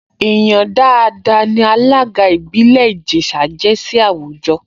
Èèyàn dáadáa ní alága ìbílẹ̀ Ìjẹ̀ṣà jẹ́ sí àwùjọ